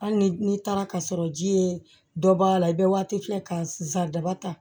Hali ni n'i taara ka sɔrɔ ji ye dɔ b'a la i bɛ waati filɛ ka sa daba ta